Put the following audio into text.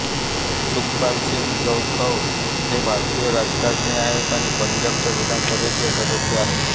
सुखपाल सिंग खैरा हे एक भारतीय राजकारणी आहेत आणि पंजाबच्या विधानसभेचे सदस्य आहेत